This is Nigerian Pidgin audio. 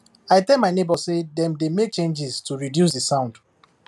i tell my neighbour say dem dey make changes to reduce the sound